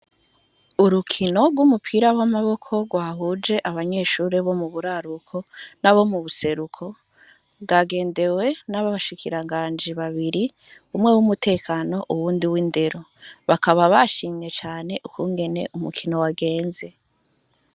Urukino rw'umupira w'amaboko gwahuje abanyeshure bo mu buraruko n'abo mu buseruko gwagendewe n'Abashikiranganji babiri ; umwe w'umutekano uwundi w'indero. Bakaba bashimye cane ukungene umukino wagenze.